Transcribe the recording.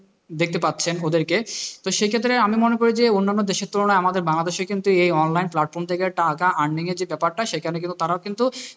দেখতে পাচ্ছেন ওদেরকে তো সেই ক্ষেত্রে আমি মনে করি যে অন্যান্য দেশের তুলনায় আমাদের বাংলাদেশের কিন্তু এই online platform থেকে টাকা earning যে ব্যাপারটা সেখানে কিন্তু তারাও কিন্তু,